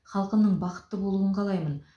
халқымның бақытты болуын қалаймын